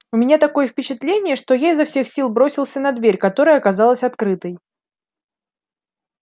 у меня такое впечатление что я изо всех сил бросился на дверь которая оказалась открытой